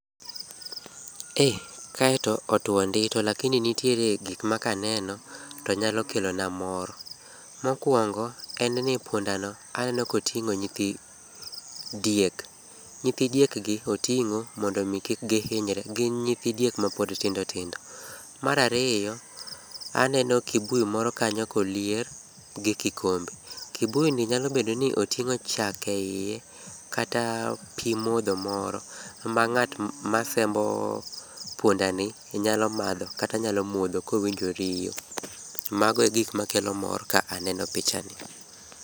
Ee, kae to otuo ndi to lakini nitiere gik makaneno to nyalo kelona mor. Mokuongo en ni pundano aneno koting'o nyithi diek. Nyithi diek gi oting'o mondo mi kik gihinyre, gin nyithi diek mapod tindo tindo. Mar ariyo, aneno kibuyi moro kanyo kolier gi kikombe. Kibuyi nyalo bedo ni oting'o chak eiye kata pi modho moro ma ng'at masembo pundani, nyalo madho kata nyalo modho kowinjo riyo. Mago e gik makelo mor ka aneno pichani.